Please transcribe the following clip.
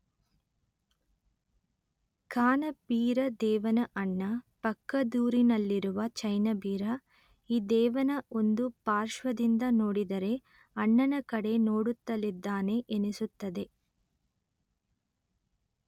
ಕಾನಬೀರ ದೇವನ ಅಣ್ಣ ಪಕ್ಕದೂರಿನಲ್ಲಿರುವ ಜೈನಬೀರ ಈ ದೇವನ ಒಂದು ಪಾರ್ಶ್ವದಿಂದ ನೋಡಿದರೆ ಅಣ್ಣನ ಕಡೆ ನೋಡುತ್ತಲಿದ್ದಾನೆ ಎನಿಸುತ್ತದೆ